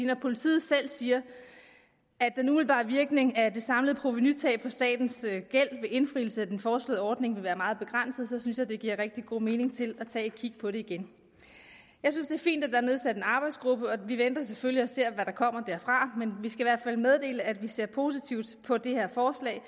når politiet selv siger at den umiddelbare virkning af det samlede provenutab på statens gæld ved indfrielse af den foreslåede ordning vil være meget begrænset synes jeg det giver rigtig god mening at tage et kig på det igen jeg synes det er fint er nedsat en arbejdsgruppe og vi venter selvfølgelig og ser hvad der kommer derfra men vi skal i hvert fald meddele at vi ser positivt på det her forslag